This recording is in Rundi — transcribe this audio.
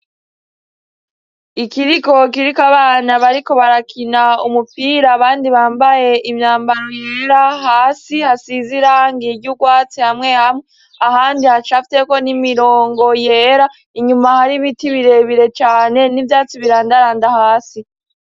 Ikiriko kiriko abana bariko barakina umupira abandi bambaye imyambaro yera hasi hasize irangi ry' ugwatsi hamwe hamwe ahandi hacafyeko imirongo yera inyuma hari ibiti bire bire cane n'ivyatsi birandaranda hasi.